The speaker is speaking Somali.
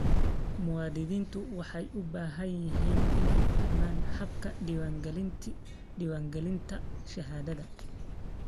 Muwaadiniintu waxay u baahan yihiin inay fahmaan habka diiwaangelinta shahaadada.